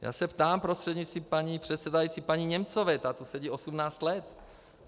Já se ptám prostřednictvím paní předsedající paní Němcové, ta tu sedí 18 let.